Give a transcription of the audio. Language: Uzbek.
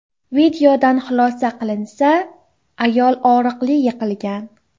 Videodan xulosa qilinsa, ayol og‘riqli yiqilgan.